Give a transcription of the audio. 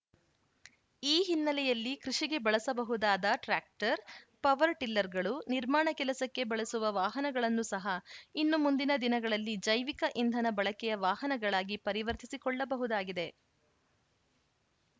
ಈ ಹಿನ್ನೆಲೆಯಲ್ಲಿ ಕೃಷಿಗೆ ಬಳಸಬಹುದಾದ ಟ್ರಾಕ್ಟರ್‌ ಪವರ್‌ ಟಿಲ್ಲರ್‌ಗಳು ನಿರ್ಮಾಣ ಕೆಲಸಕ್ಕೆ ಬಳಸುವ ವಾಹನಗಳನ್ನು ಸಹ ಇನ್ನು ಮುಂದಿನ ದಿನಗಳಲ್ಲಿ ಜೈವಿಕ ಇಂಧನ ಬಳಕೆಯ ವಾಹನಗಳಾಗಿ ಪರಿವರ್ತಿಸಿಕೊಳ್ಳಬಹುದಾಗಿದೆ